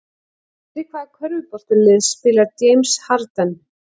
Fyrir hvaða körfuboltalið spilar James Harden?